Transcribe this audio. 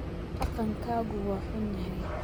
Dhaqankaagu waa xun yahay